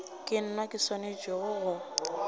ke nna ke swanetšego go